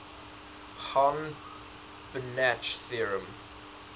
hahn banach theorem